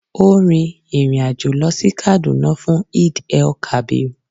ọ́ rin ìrìn àjò lọ sí Kaduna fún Eid-el-kabir.